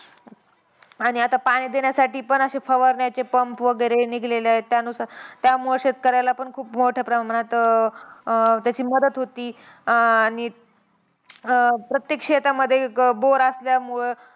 आणि आता पाणी देण्यासाठी पण अशे फवारण्याचे pump वगैरे निघालेलेय. त्यानुसार त्यामुळे शेतकऱ्याला पण खूप मोठ्या प्रमाणात अं अं त्याची मदत होती. आणि अं प्रत्येक शेतामध्ये bore असल्यामुळं,